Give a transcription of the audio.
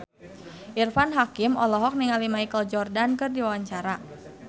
Irfan Hakim olohok ningali Michael Jordan keur diwawancara